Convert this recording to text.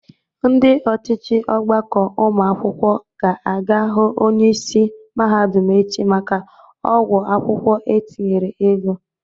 Ndị ọchịchị ọgbakọ ụmụ akwụkwọ ga-aga hụ onyeisi mahadụm echi maka ọgwọ akwụkwọ etinyere ego.